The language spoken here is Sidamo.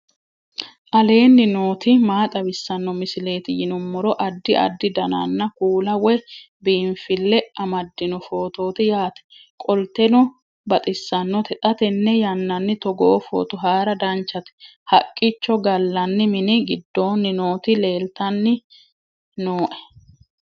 aleenni nooti maa xawisanno misileeti yinummoro addi addi dananna kuula woy biinfille amaddino footooti yaate qoltenno baxissannote xa tenne yannanni togoo footo haara danchate haqqicho gallanni mini giddoonni nooti leeltanni nooe